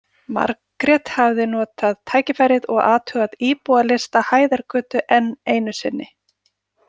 Margrét hafði notað tækifærið og athugað íbúalista Hæðargötu enn einu sinni.